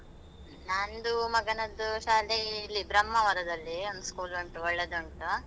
ನಂದು ಮಗನದ್ದು ಶಾಲೆ ಇಲ್ಲಿ ಬ್ರಹ್ಮಾವರದಲ್ಲಿ, ಒಂದು school ಉಂಟು, ಒಳ್ಳೆದುಂಟು.